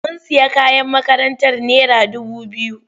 Mun sayi kayan makarantar naira dubu biyu.